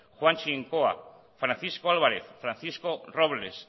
juan chincoa francisco álvarez francisco robles